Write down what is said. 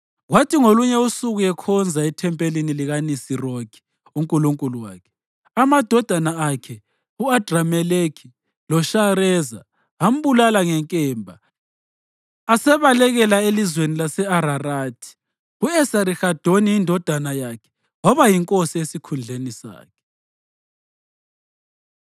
Kwathi ngolunye usuku ekhonza ethempelini likaNisirokhi unkulunkulu wakhe, amadodana akhe u-Adrameleki loShareza ambulala ngenkemba asebalekela elizweni lase-Ararathi. U-Esarihadoni indodana yakhe yaba yinkosi esikhundleni sakhe.”